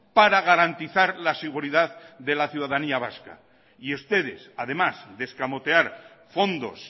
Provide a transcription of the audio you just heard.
para garantizar la seguridad de la ciudadanía vasca y ustedes además de escamotear fondos